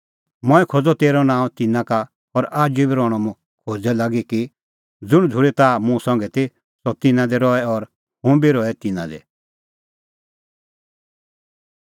मंऐं खोज़अ तेरअ नांअ तिन्नां का और आजू बी रहणअ मुंह खोज़दै लागी कि ज़ुंण झ़ूरी ताह मुंह संघै ती सह तिन्नां दी रहे और हुंह बी रहे तिन्नां दी